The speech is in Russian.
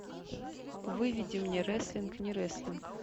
выведи мне рестлинг не рестлинг